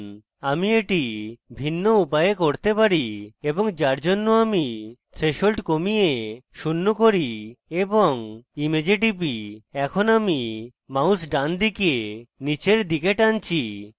আমি এটি বিভিন্ন উপায়ে করতে পারি এবং যার জন্য আমি threshold কমিয়ে শূন্য করি এবং image টিপি এবং এখন আমি mouse ডানদিকে নীচের দিকে টানছি